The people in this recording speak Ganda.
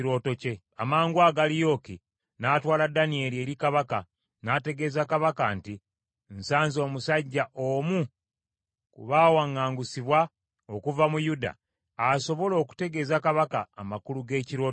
Amangwago, Aliyooki n’atwala Danyeri eri kabaka, n’ategeeza kabaka nti, “Nsanze omusajja, omu ku baawaŋŋangusibwa okuva mu Yuda, asobola okutegeeza kabaka amakulu g’ekirooto kye.”